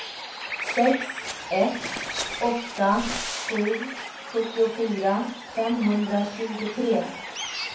sex ett åtta sju sjuttiofyra femhundratjugotre